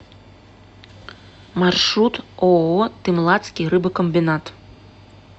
маршрут ооо тымлатский рыбокомбинат